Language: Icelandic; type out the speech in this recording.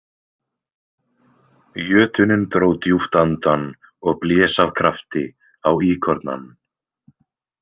Jötunninn dró djúpt andann og blés af krafti á íkornann.